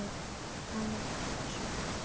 Anína, hversu margir dagar fram að næsta fríi?